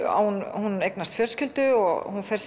hún eignast fjölskyldu og fer